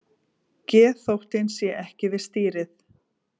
Geðþóttinn sé ekki við stýrið